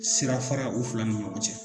Sirafara u fila ni cɛ